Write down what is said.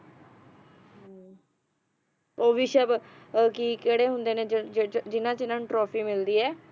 ਓਹੋ ਵਿਸ਼ਵ ਆ ਕੀ`ਕਿਹੜੇ ਹੁੰਦੇ ਨੇ ਜਿਨ੍ਹਾਂ ਜਿਨ੍ਹਾਂ ਨੂੰ trophy ਮਿਲਦੀ ਆ